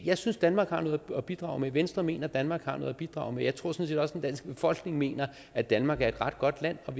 jeg synes danmark har noget at bidrage med venstre mener at danmark har noget at bidrage med jeg tror sådan set også den danske befolkning mener at danmark er et ret godt land og